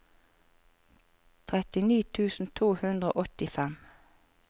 trettini tusen to hundre og åttifem